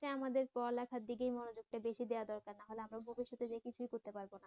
আমাদের পড়ালেখা টার দিকেই আমাদের মনোযোগ বেশি দেয়া দরকার নাহলে আমরা ভবিষ্যতে যেয়ে কিছুই করতে পারবো না